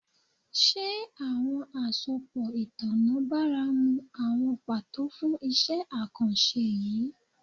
Ṣe awọn asopọ itanna baramu awọn pato fun iṣẹ akanṣe yii?